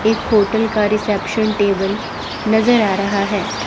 एक होटल का reception table नजर आ रहा है।